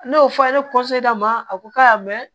N'o fɔra ne ma a ko k'a y'a mɛn